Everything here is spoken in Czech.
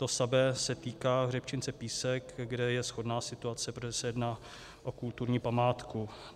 To samé se týká hřebčince Písek, kde je shodná situace, protože se jedná o kulturní památku.